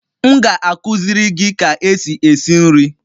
M ga-akụziri gị ka esi esi nri